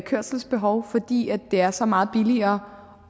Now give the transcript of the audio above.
kørselsbehov fordi det er så meget billigere